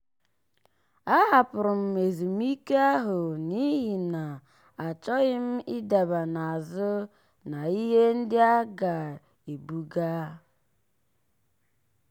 a hapụrụ m ezumike ahụ n'ihi na achọghị m ịdaba n'azụ na ihe ndị a ga-ebuga.